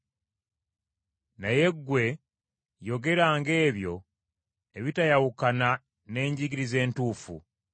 Naye ggwe yogeranga ebyo ebitayawukana na njigiriza entuufu.